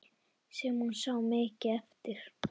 Sem hún sá mikið eftir.